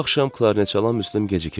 Bu axşam Klarneçalan Müslüm gecikirdi.